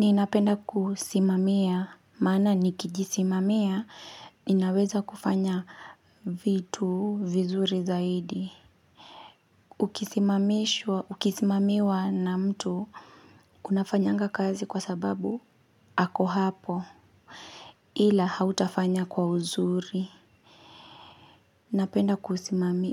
Ninapenda kusimamia, maana nikijisimamia, ninaweza kufanya vitu vizuri zaidi. Ukisimamiwa na mtu, unafanyanga kazi kwa sababu, ako hapo. Ila hautafanya kwa uzuri. Napenda